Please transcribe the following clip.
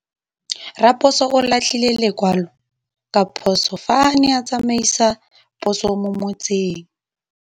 Raposo o latlhie lekwalô ka phosô fa a ne a tsamaisa poso mo motseng.